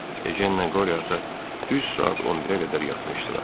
Ejenlə Qoriot düz saat 11-ə qədər yatmışdılar.